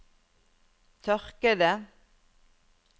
tørkede